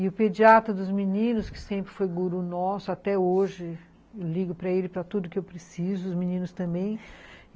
E o pediatra dos meninos, que sempre foi guru nosso até hoje, eu ligo para ele para tudo que eu preciso, os meninos também.